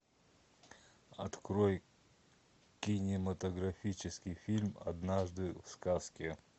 открой кинематографический фильм однажды в сказке